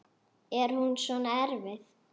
Er hún svona erfið?